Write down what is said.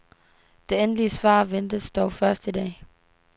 Det endelige svar ventes dog først i dag.